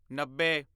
ਨੱਬੇ